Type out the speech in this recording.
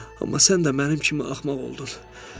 Amma sən də mənim kimi axmaq oldun.